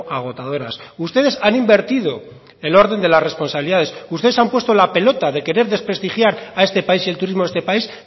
agotadoras ustedes han invertido el orden de las responsabilidades ustedes han puesto la pelota de querer desprestigiar a este país y al turismo de este país